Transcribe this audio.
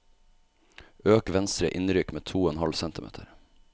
Øk venstre innrykk med to og en halv centimeter